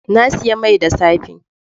Na sayi mai da safe.